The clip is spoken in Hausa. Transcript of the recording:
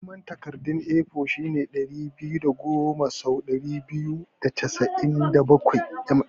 Girman takarda A4 shine ɗari biyu da goma sau ɗari biyu da casa'in da bakwai mm.